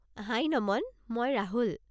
হাই নমন! মই ৰাহুল।